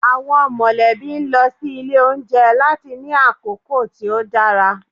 Awọn molebí n lọ si ile ounjẹ lati ni akoko ti o dara.